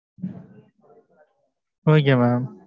okay mam